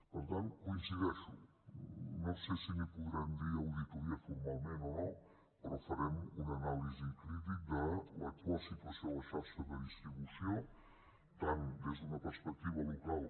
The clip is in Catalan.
per tant hi coincideixo no sé si en podrem dir auditoria formalment o no però farem una anàlisi crítica de l’actual situació en la xarxa de distribució tant des d’una perspectiva local